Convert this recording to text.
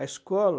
A escola...